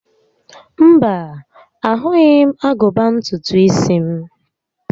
Mba, ahụghị m agụba ntutu isi m